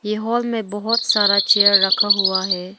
ये हॉल में बहुत सारा चेयर रखा हुआ है।